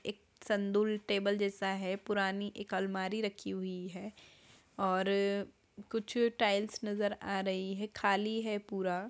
एक संदुल टेबल जैसा है पुरानी एक अलमारी रखी हुई है और कुछ टाइल्स नजर आ रही है खाली है पूरा।